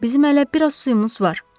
Bizim hələ biraz suyumuz var.